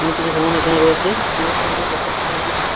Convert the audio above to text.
জমানো এখানে রয়েছে অনেক সুন্দর দেখাচ্ছে চারিদিকটা ।